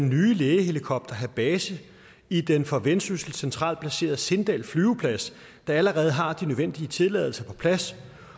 nye lægehelikopter have base i den for vendsyssel centralt placerede sindal flyveplads der allerede har de nødvendige tilladelser på plads